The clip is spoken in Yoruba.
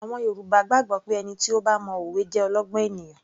Àwọn Yorùbá gbàgbọ́ pé ẹni tí ó bá mo òwe jẹ́ olọ́gbọ́n ènìyàn